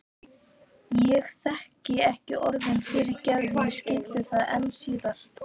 Ég þekkti ekki orðið fyrirgefðu og skildi það enn síður.